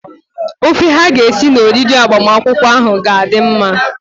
Ofe ha ga-esi na oriri agbamakwụkwọ ahụ ga-adị mma.